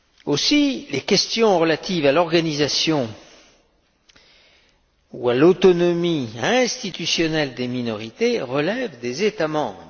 Aussi, les questions relatives à l'organisation ou à l'autonomie institutionnelles des minorités relèvent des États membres.